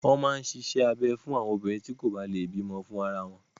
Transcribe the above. Wọ́n máa ń ṣíṣe abẹ fún àwọn obìnrin tí kò bá lè bí ọmọ fún ara wọn.